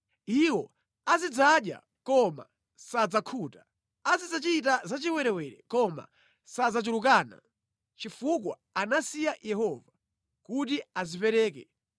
“Iwo azidzadya koma sadzakhuta; azidzachita zachiwerewere koma sadzachulukana, chifukwa anasiya Yehova kuti adzipereke